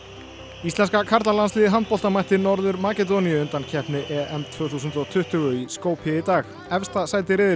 íslenska karlalandsliðið í handbolta mætti Norður Makedóníu í undankeppni EM tvö þúsund og tuttugu í Skopje í dag efsta sæti riðilsins